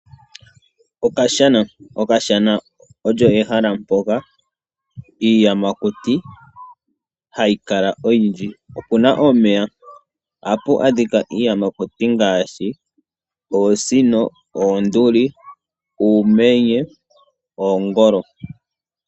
Okashana Okashana olyo ehala mpoka iiyamakuti hayi kala oyindji. Opu na omeya. Ohamu adhika iiyamakuti oyindji ngaashi oosino, oondulu, uumenye noongolo.